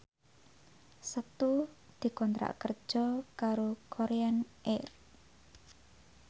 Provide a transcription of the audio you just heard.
Setu dikontrak kerja karo Korean Air